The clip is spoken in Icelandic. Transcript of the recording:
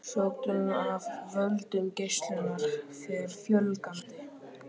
Sjúkdómum af völdum geislunar fer fjölgandi.